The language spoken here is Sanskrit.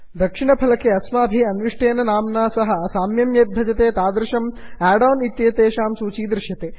दक्षिणफलके अस्माभिः अन्विष्टेन नाम्ना सह साम्यं यद् भजते तादृशम् आड् आन् इत्येतेषां सूची दृश्यते